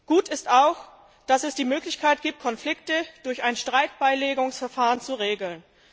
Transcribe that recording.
Gut ist auch, dass es die Möglichkeit gibt, Konflikte durch ein Streitbeilegungsverfahren zu regeln.